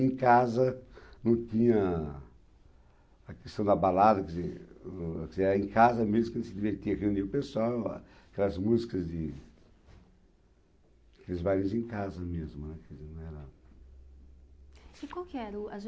Em casa não tinha a questão da balada, quer dizer, o, quer dizer, era em casa mesmo que a gente se divertia, reunia o pessoa, aquelas músicas de... Aqueles bailes em casa mesmo, né, quer dizer, não era... E qual que era?